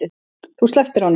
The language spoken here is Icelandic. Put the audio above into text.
Þú slepptir honum.